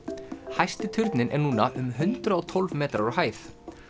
hæsti turninn er núna er um hundrað og tólf metrar á hæð